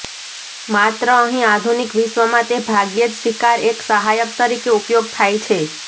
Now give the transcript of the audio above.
માત્ર અહીં આધુનિક વિશ્વમાં તે ભાગ્યે જ શિકાર એક સહાયક તરીકે ઉપયોગ થાય છે